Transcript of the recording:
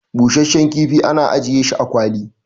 busasshen kifi ana ajiye shi a kwali